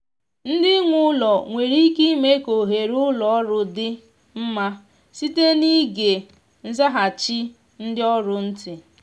ndị nwe ụlọ nwere ike ime ka oghere ụlọ ọrụ dị mma site n’ịge nzaghachi ndị ọrụ ntị